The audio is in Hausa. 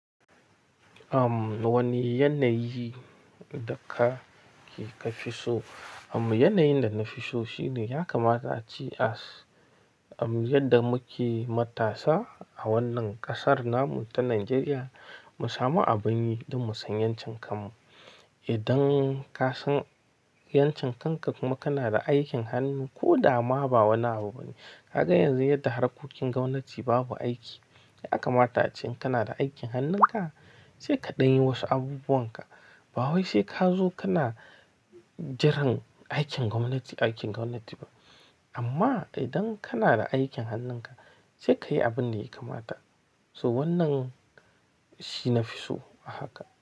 Am wani yanayi da ka kika fi so? Am yanayin da na fi so shine, ya kamata a ce yadda muke matasa a wannan kasar namu ta Najeriya, mu samu abin yi don mu san yankin kanmu. Idan ka san yankin kanka kuma kana da aikin hannu ko dama ba wani abu bane. Kaga yanzu yadda harkokin gwamnati babu aiki, ya kamata ace in kana da aikin hannunka, sai ka ɗan yi wasu abubuwan ka. Ba wai sai ka zo kana jiran, aikin gwamnati, aikin gwamnati ba. Amma idan kana da aikin hannunka, sai ka yi abun da ya kamata. So wannan shi nafi so a haka.